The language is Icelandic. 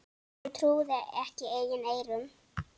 Hann trúði ekki eigin eyrum.